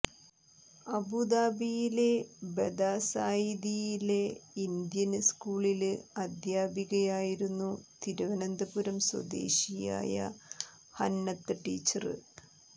അബൂദാബിയിലെ ബദാസായിദിലെ ഇന്ത്യന് സ്കൂളില് അധ്യാപികയായിരുന്നു തിരുവനന്തപുരം സ്വദേശിയായ ഹന്നത്ത് ടീച്ചര്